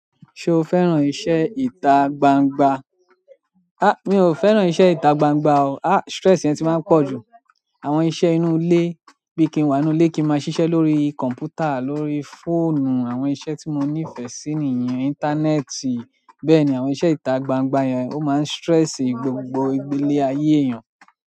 Ṣo fẹ́ràn iṣẹ́ ìta gbangba? Mi ò fẹ́ràn iṣẹ́ ìta gbangba o. A, stress yẹn ti máa ń pọ̀ jù. Àwọn iṣẹ́ inú ilé, bí i kí n wà nínú ilé kí n máa ṣiṣẹ́ lórí kọ̀m̀pútà, lórí fóònù, àwọn iṣẹ́ tí mo nífẹ̀ẹ́ sí nìyẹn, íńtánẹ́ẹ̀tì. Bẹ́ẹ̀ni àwọn iṣẹ́ itagbangba yen o ma n stress ile aye eeyan.